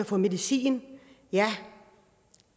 få medicin ja